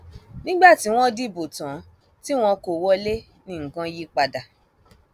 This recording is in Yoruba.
nígbà tí wọn dìbò tán tí wọn kò wọlé ní nǹkan yípadà